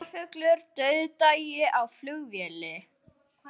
Dularfullur dauðdagi á flugvelli